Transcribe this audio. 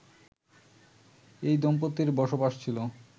ওই দম্পতির বসবাস ছিল